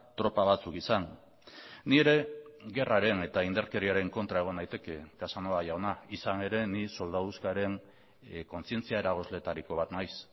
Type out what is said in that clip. tropa batzuk izan ni ere gerraren eta indarkeriaren kontra egon naiteke casanova jauna izan ere ni soldaduzkaren kontzientzia eragozleetariko bat naiz